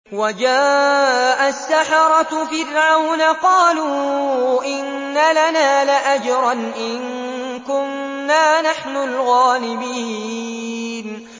وَجَاءَ السَّحَرَةُ فِرْعَوْنَ قَالُوا إِنَّ لَنَا لَأَجْرًا إِن كُنَّا نَحْنُ الْغَالِبِينَ